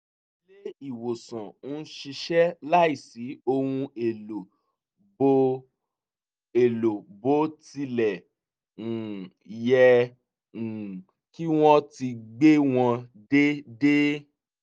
ilé ìwòsàn ń ṣiṣẹ́ láìsí ohun èlò bó èlò bó tilẹ̀ um yẹ um kí wọ́n ti gbé wọn dédé